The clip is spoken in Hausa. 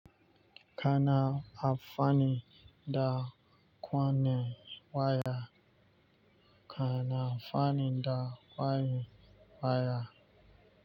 Kana amfani da kwanye waya. Kana amfani da kwayen waya.